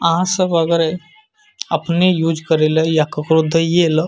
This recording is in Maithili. आ सब अगरे अपने यूज़ करले या केकोरो देइलो।